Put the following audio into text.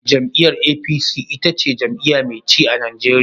Jam'iyyar APC ita ce jam'iyya mai ci a Najeriya.